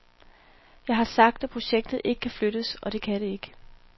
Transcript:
Jeg har sagt, at projektet ikke kan flyttes, og det kan det ikke.